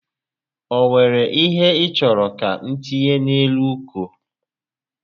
O were ihe ị chọrọ ka m tinye n'elu uko?